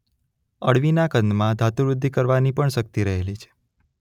અળવીના કંદમાં ધાતુવૃદ્ધિ કરવાની પણ શક્તિ રહેલી છે.